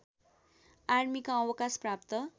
आर्मीका अवकाश प्राप्त